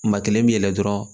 Maa kelen bi yɛlɛ dɔrɔn